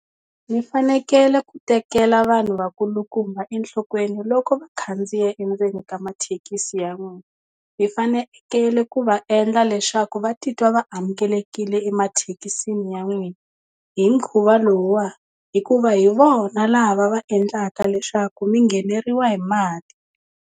Mi fanekele ku tekela vanhu vakulukumba enhlokweni loko va khandziya endzeni ka mathekisi ya n'wina mi fanekele ku va endla leswaku va titwa va amukelekile emathekisini ya n'wina hi mukhuva lowuwa hikuva hi vona lava va endlaka leswaku mi ngheneriwa hi mali.